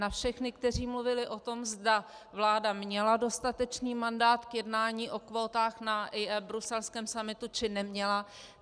Na všechny, kteří mluvili o tom, zda vláda měla dostatečný mandát k jednání o kvótách na bruselském summitu, či neměla.